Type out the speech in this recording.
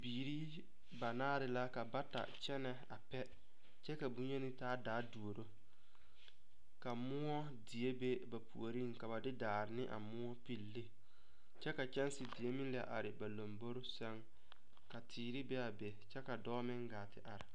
Bibiiri banaare la ka bata kyɛnɛ a pɛ kyɛ ka bonyeni taa daa a duoro ka moɔ die be ba puoriŋ ka ba de daare ne a moɔ pilli ne kyɛ ka kyɛnsi die meŋ la are ba lombore sɛŋ ka teere be a be kyɛ ka dɔɔ meŋ gaa te are.